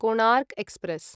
Konark express